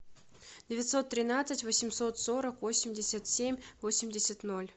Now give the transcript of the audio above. девятьсот тринадцать восемьсот сорок восемьдесят семь восемьдесят ноль